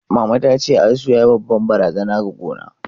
Mama tace, asu yayi babbar barazana ga gona.